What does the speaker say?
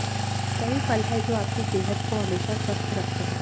कई फल है जो आपकी सेहत को हमेशा स्वस्थ रखते है